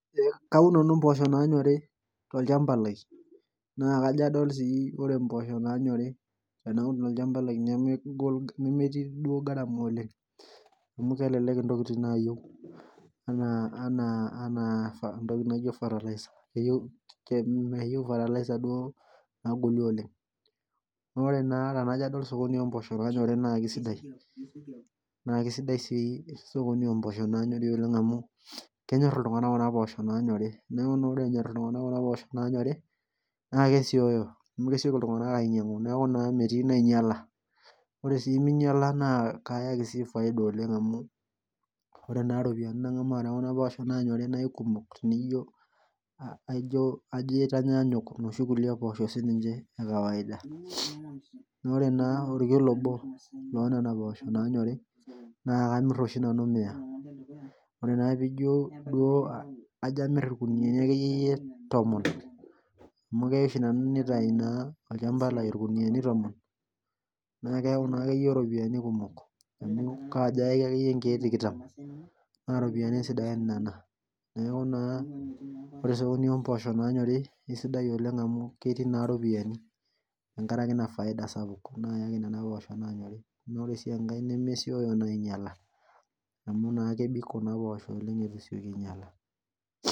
Kaun nanu mposho nanyor nakaja adol mboosho nanyori tolchamba lai nemetii garama oleng ame kekutik ntokitin natii naaenaa ntokitin naijo fertiliser duo nagoli oleng ore pajo adol osokoni lompoosho na kesidai amu kenyor ltunganak kuna poosho nanyori na kesioyo kesieki ltunganak ainyangu metii nainyala ore si minyala kayaki ropiyani amu mengamaa na kaikumok aijo emaitanganyuk noshi poosho ekawaida na kamir oshi nanu mia ore naa pijo amir irkuniani tomon amu kitau olchamba lai nkiloi tomon nakeyau akeyie ropiyani kumok amu kajo ayaki nkiek tikitam ba ropiyani sidan nona neaky na ore peuni mpoosho nanyori na ketiu ropiyani tenkaraki nona poosho nanyori ore si enkae nemesieki ainyala amy kebik kuna poosho oleg itu esieku anyala